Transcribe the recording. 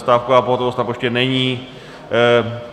Stávková pohotovost na poště není.